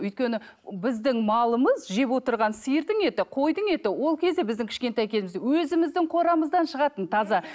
өйткені біздің малымыз жеп отырған сиырдың еті қойдың еті ол кезде біздің кішкентай кезімізде өзіміздің қорамыздан шығатын таза